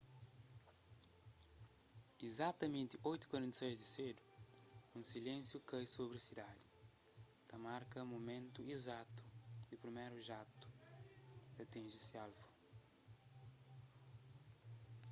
izatamenti 8:46 di sedu un silénsiu kai sobri sidadi ta marka mumentu izatu ki priméru jatu atinji se alvu